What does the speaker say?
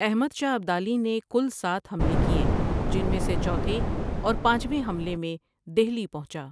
احمد شاہ ابدالی نے کُل سات حملے کیے جن میں سے چوتھے اور پانچویں حملے میں دہلی پہنچا۔